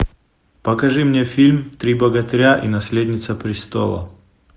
покажи мне фильм три богатыря и наследница престола